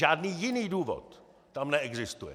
Žádný jiný důvod tam neexistuje.